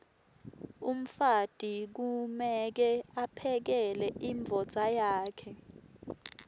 umfati kumeke aphekele imdvodza yakhe